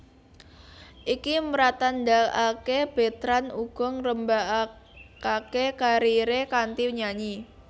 Iki mratandhakaké Betrand uga ngrembakakaké kariré kanthi nyanyi